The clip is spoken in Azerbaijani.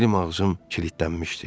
Dilim-ağzım kilidlənmişdi.